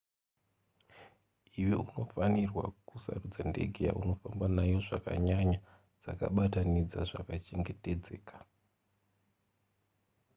iwe unofanirwa kusarudza ndege yaunofamba nayo zvakanyanya dzakabatanidza zvakachengetedzeka